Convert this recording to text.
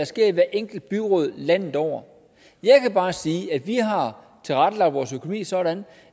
sker i hvert enkelt byråd landet over jeg kan bare sige at vi har tilrettelagt vores økonomi sådan